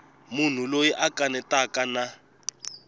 munhu loyi a kanetaka na